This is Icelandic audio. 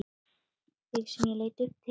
Þig sem ég leit upp til.